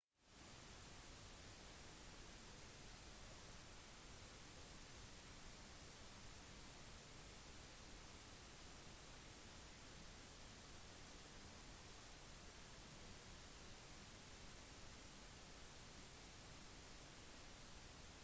peter costello er en australsk kasserer og mannen som mest sannsynlig blir leder for det liberale partiet etter statsminister john howard og han gir sin støtte til en atomkraftindustri i australia